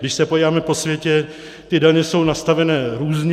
Když se podíváme po světě, ty daně jsou nastavené různě.